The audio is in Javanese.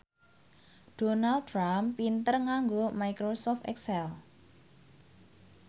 Donald Trump pinter nganggo microsoft excel